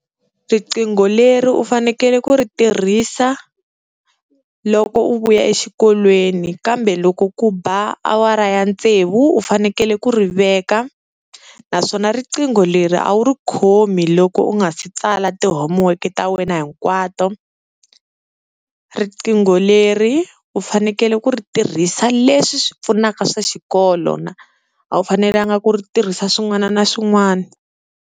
Riqingho leri u fanekele ku ri tirhisa loko u vuya exikolweni kambe loko ku ba awara ya tsevu u fanekele ku ri veka, naswona riqingho leri a wu ri khomi loko u nga si tsala ti-homework ta wena hinkwato, riqingho leri u fanekele ku ri tirhisa leswi swi pfunaka swa xikolo na a wu fanelanga ku ri tirhisa swin'wana na swin'wana.